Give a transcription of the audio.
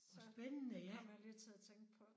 Så kom jeg lige til at tænke på